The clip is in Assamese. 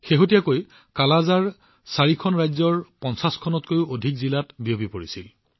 শেহতীয়াকৈ কালাআজাৰৰ দুৰ্যোগ ৪খন ৰাজ্যৰ ৫০খনত কৈও অধিক জিলাত বিয়পি পৰিছিল